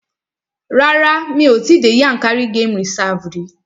Rárá, mi ò tí dé Yankari game reserve rí.